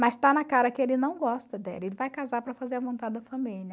Mas está na cara que ele não gosta dela, ele vai casar para fazer a vontade da família.